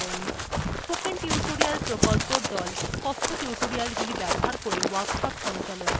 spoken tutorial প্রকল্পর the কথ্য tutorialগুলি ব্যবহার করে workshop সঞ্চালন করে